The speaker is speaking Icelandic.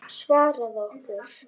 Svaraðu okkur.